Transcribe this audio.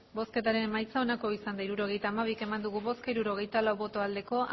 hirurogeita hamabi eman dugu bozka hirurogeita lau bai